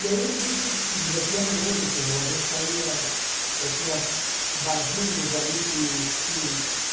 E aí a gente se divertia muito, a gente saía eh... Tinha barzinhos ali que que